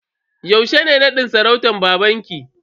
Yaushe ne nadin sarautan babanki?